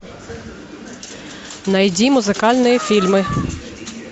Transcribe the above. найди музыкальные фильмы